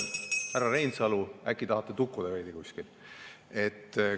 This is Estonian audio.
Härra Reinsalu, äkki tahate tukkuda veidi kuskil?